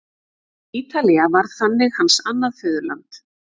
Ítalía varð þannig hans annað föðurland.